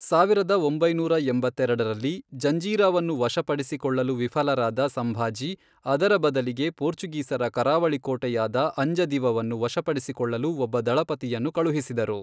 ಸಾವಿರದ ಒಂಬೈನೂರ ಎಂಬತ್ತೆರಡರಲ್ಲಿ, ಜಂಜೀರಾವನ್ನು ವಶಪಡಿಸಿಕೊಳ್ಳಲು ವಿಫಲರಾದ ಸಂಭಾಜಿ, ಅದರ ಬದಲಿಗೆ ಪೋರ್ಚುಗೀಸರ ಕರಾವಳಿ ಕೋಟೆಯಾದ ಅಂಜದಿವವನ್ನು ವಶಪಡಿಸಿಕೊಳ್ಳಲು ಒಬ್ಬ ದಳಪತಿಯನ್ನು ಕಳುಹಿಸಿದರು.